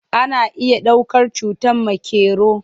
Ana iya ɗaukar cutar makero.